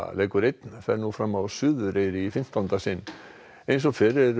leikur einn fer nú fram á Suðureyri í fimmtánda sinn eins og fyrr eru